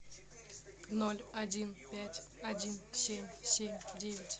ноль один пять один семь семь девять